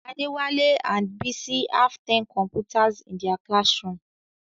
Adewale and Bisi have ten computers in their classroom.